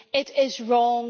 It is wrong.